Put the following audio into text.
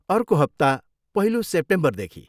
अर्को हप्ता, पहिलो सेप्टेम्बरदेखि।